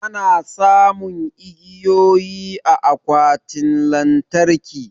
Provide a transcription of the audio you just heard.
Ana samun igiyoyi a akwatin lantarki.